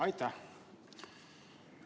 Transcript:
Aitäh!